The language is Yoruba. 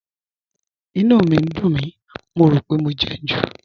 Ìnú mi ń dùn mí, mo rò pé mo jẹun jù